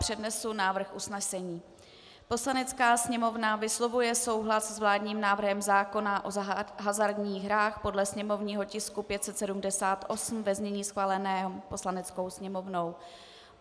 Přednesu návrh usnesení: "Poslanecká sněmovna vyslovuje souhlas s vládním návrhem zákona o hazardních hrách podle sněmovního tisku 578 ve znění schváleném Poslaneckou sněmovnou."